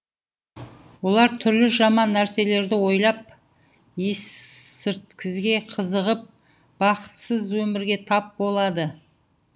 олар түрлі жаман нәрселерді ойлап есірткіге қызығып бақытсыз өмірге тап болады